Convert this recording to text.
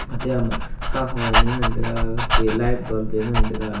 ate ama kahua anyi ngan taiga ke light bulb wai ngan taiga.